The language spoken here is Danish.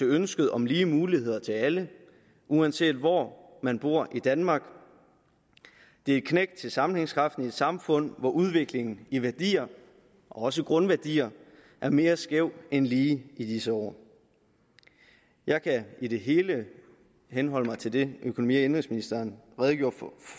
ønsket om lige muligheder til alle uanset hvor man bor i danmark det er et knæk til sammenhængskraften i et samfund hvor udviklingen i værdier og også grundværdier er mere skæv end lige i disse år jeg kan i det hele henholde mig til det økonomi og indenrigsministeren redegjorde